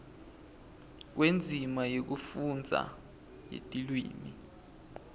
kwendzima yekufundza yetilwimi